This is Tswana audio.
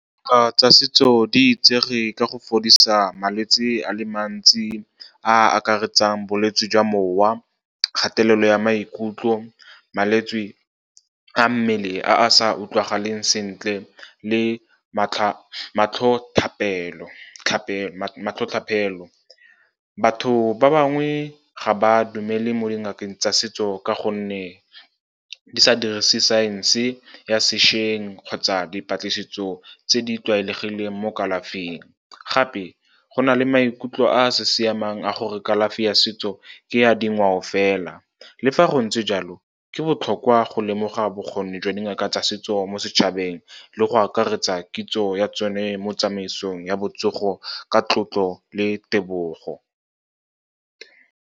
tsa setso di itsege ka go fodisa malwetse a le mantsi a a akaretsang bolwetse jwa mowa, kgatelelo ya maikutlo, malwetse a mmele a sa utlwagaleng sentle, le matlhotlhotlhapelo. Batho ba bangwe ga ba dumele mo dingakeng tsa setso ka gonne di sa dirisi science ya sešweng kgotsa dipatlisiso tse di tlwaelegileng mo kalafing. Gape, go na le maikutlo a a sa siamang a gore kalafi ya setso ke ya dingwao fela. Le fa go ntse jalo, ke botlhokwa go lemoga bokgoni jwa dingaka tsa setso mo setšhabeng le go akaretsa kitso ya tsone mo tsamaisong ya botsogo ka tlotlo le tebogo.